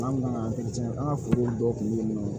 Maa min kan ka an ka forow dɔw kunbɛ